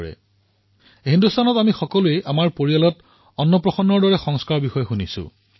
আমি সকলো পৰিয়ালে হিন্দুস্তানৰ প্ৰতিটো প্ৰান্তত অন্নপ্ৰসন্ন বিধিৰ বিষয়ে শুনিছো